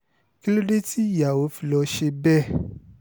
kí ló dé tí ìyàwó fi lọ́ọ́ ṣe bẹ́ẹ̀